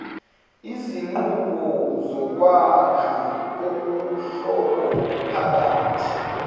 izinqubo zokwakha ubuhlobophakathi